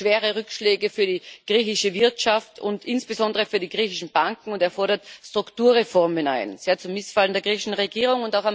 Er sieht schwere Rückschläge für die griechische Wirtschaft und insbesondere für die griechischen Banken, und er fordert Strukturreformen ein sehr zum Missfallen der griechischen Regierung.